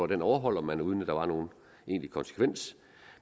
den overholdt man uden at der var nogen egentlig konsekvens